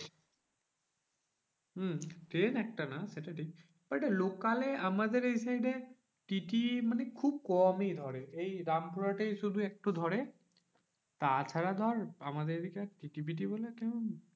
হম train একটা না সেটা ঠিক but local এ আমাদের এই side এ TTE মানে খুব কমই ধরে এই রামপুরহাটের শুধু একটু ধরে। তাছাড়া ধর আমাদের এদিকে আর TTE ফিটি বলে আর কেউ